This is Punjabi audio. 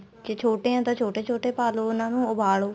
ਜੇ ਛੋਟੇ ਏ ਤਾਂ ਛੋਟੇ ਛੋਟੇ ਪਾਲੋ ਉਹਨਾ ਨੂੰ ਉਬਾਲੋ